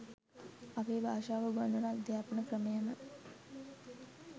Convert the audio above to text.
අපේ භාෂාව උගන්වන අධ්‍යාපන ක්‍රමයම